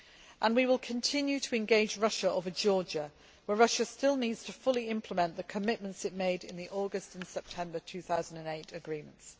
And we will continue to engage Russia over Georgia, where Russia still needs to fully implement the commitments it made in the August and September 2008 agreements.